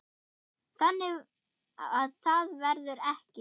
Þannig að það verður ekki.